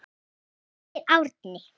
Hann heitir Árni.